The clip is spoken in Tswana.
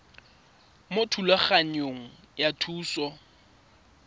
mo thulaganyong ya thuso y